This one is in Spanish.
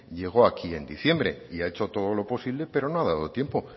llegó aquí en diciembre y ha hecho todo lo posible pero no ha dado tiempo